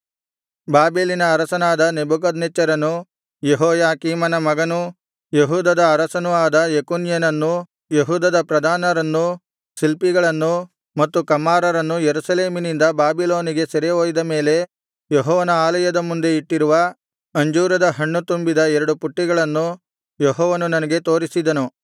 ಬಾಬೆಲಿನ ಅರಸನಾದ ನೆಬೂಕದ್ನೆಚ್ಚರನು ಯೆಹೋಯಾಕೀಮನ ಮಗನೂ ಯೆಹೂದದ ಅರಸನೂ ಆದ ಯೆಕೊನ್ಯನನ್ನೂ ಯೆಹೂದದ ಪ್ರಧಾನರನ್ನೂ ಶಿಲ್ಪಿಗಳನ್ನೂ ಮತ್ತು ಕಮ್ಮಾರರನ್ನೂ ಯೆರೂಸಲೇಮಿನಿಂದ ಬಾಬಿಲೋನಿಗೆ ಸೆರೆ ಒಯ್ದ ಮೇಲೆ ಯೆಹೋವನ ಆಲಯದ ಮುಂದೆ ಇಟ್ಟಿರುವ ಅಂಜೂರದ ಹಣ್ಣು ತುಂಬಿದ ಎರಡು ಪುಟ್ಟಿಗಳನ್ನು ಯೆಹೋವನು ನನಗೆ ತೋರಿಸಿದನು